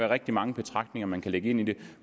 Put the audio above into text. rigtig mange betragtninger man kan lægge ind i det